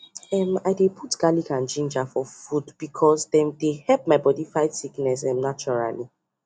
um i dey put garlic and ginger for food because dem dey help my body fight sickness um naturally